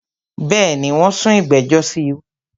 Bẹ́ẹ̀ni, wón sún ìgbẹ̀jọ̀ sí wájú